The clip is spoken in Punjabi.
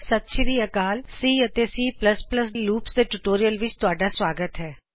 ਸਤ ਸ਼੍ਰੀ ਅਕਾਲ ਸੀ ਅਤੇ C plus plus C loops ਦੇ ਟਯੂਟੋਰਿਅਲ ਵਿਚ ਤੁਹਾਡਾ ਸਵਾਗਤ ਹੈ